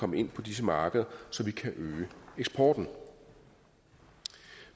komme ind på disse markeder så vi kan øge eksporten